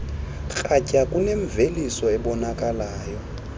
kratya kunemveliso ebonakalayo